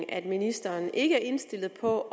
at ministeren ikke er indstillet på